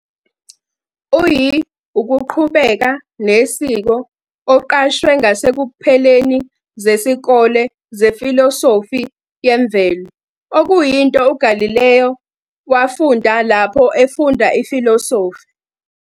Uyi ukuqhubeka nesiko oqashwe ngasekupheleni zesikole zefilosofi yemvelo, okuyinto uGalileo wafunda lapho efunda ifilosofi.